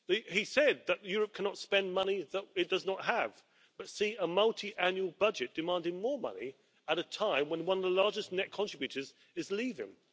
He said that Europe cannot spend money that it does not have but they see a multiannual budget demanding more money at a time when one of the largest net contributors is leaving.